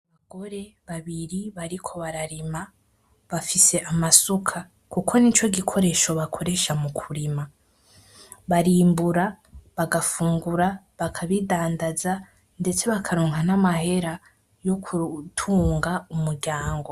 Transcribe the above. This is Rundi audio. Abagore babiri bariko bararima, bafise amasuka kuko nico gikoresho bakoresha mu kurima. Barimbura, bagafungura, bakabidandaza, ndetse bakaronka n’amahera yo gutunga umuryango.